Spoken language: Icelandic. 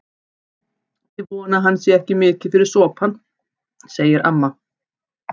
Ég vona að hann sé ekki mikið fyrir sopann, segir amma.